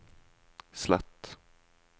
slett